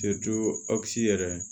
yɛrɛ